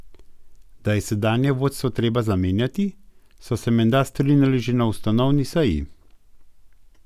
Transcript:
Da je sedanje vodstvo treba zamenjati, so se menda strinjali že na ustanovni seji.